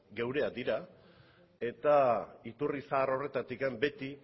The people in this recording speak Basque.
geureak dira eta iturri zahar horretatik beti